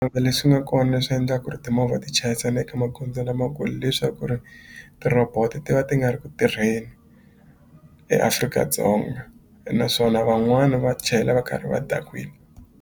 leswi nga kona leswi endla ku ri timovha ti chayisana eka magondzo lamakulu leswaku ri ti-robot ti va ti nga ri ku tirheni eAfrika-Dzonga naswona van'wana va chayela va karhi va .